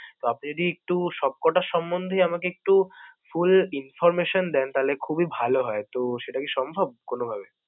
তো আপনি যদি একটু সব কয়টা সম্বন্ধে আমাকে একটু full information দেন তাইলে খুবই ভালো হয়। তো, সেটা কি সম্ভব কোনভাবে?